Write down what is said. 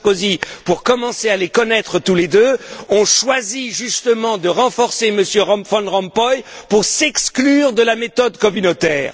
Sarkozy, pour commencer à les connaître tous les deux, ont choisi justement de renforcer M. Van Rompuy pour s'exclure de la méthode communautaire.